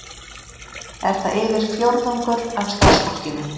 Er það yfir fjórðungur af starfsfólkinu